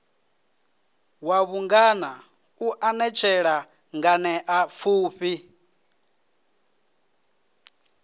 wa vhungana u anetshela nganeapfufhi